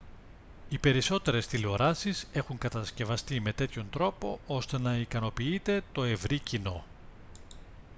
οι περισσότερες τηλεοράσεις έχουν κατασκευαστεί με τέτοιον τρόπο ώστε να ικανοποιείται το ευρύ κοινό